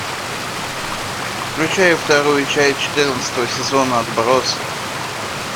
включай вторую часть четырнадцатого сезона отбросы